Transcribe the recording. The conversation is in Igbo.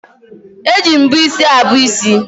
Eji mbọ isi abọ isi